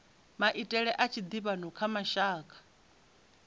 maitele a tshiḓivhano kha mashaka